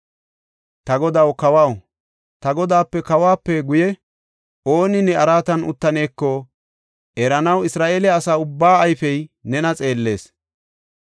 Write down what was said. Ta godaw kawaw, ta godaape kawuwape guye ooni ne araatan uttaneeko eranaw Isra7eele asa ubbaa ayfey nena xeellees.